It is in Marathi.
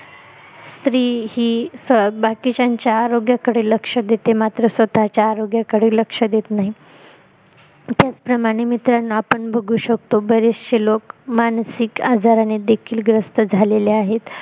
स्त्री ही बाकीचयनच्या आरोग्याकडे लक्ष देते मात्र स्वतः च्या आरोग्याकडे लक्ष देत नाही त्याचप्रमाणे मित्रांनो आपण बघू शकतो बरेचशे लोक मानसिक आरोग्याने देखील ग्रस्त झालेले आहेत